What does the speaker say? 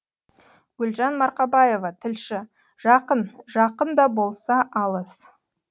гүлжан марқабаева тілші жақын жақын да болса алыс